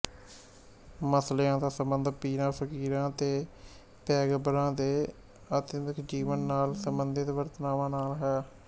ਮਸਲਿਆਂ ਦਾ ਸੰਬੰਧ ਪੀਰਾਂ ਫ਼ਕੀਰਾਂ ਤੇ ਪੈਗੰਬਰਾਂ ਦੇ ਅਧਿਆਤਮਕ ਜੀਵਨ ਨਾਲ ਸੰਬੰਧਿਤ ਵਾਰਤਾਵਾਂ ਨਾਲ ਹੈ